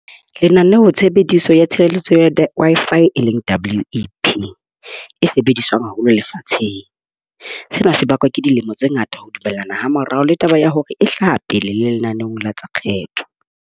Lenaneo tshebediso ya tshireletso ya Wi-Fi e leng WAP e sebediswang haholo lefatsheng. Sena se bakwa ke dilemo tse ngata ho dumellana ha morao le taba ya hore e hlaha le lenaneong la tsa kgetho.